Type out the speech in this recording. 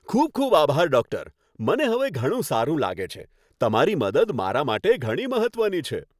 ખૂબ ખૂબ આભાર, ડોક્ટર! મને હવે ઘણું સારું લાગે છે. તમારી મદદ મારા માટે ઘણી મહત્વની છે.